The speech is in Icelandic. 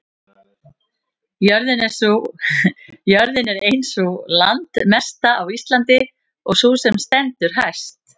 jörðin er ein sú landmesta á íslandi og sú sem stendur hæst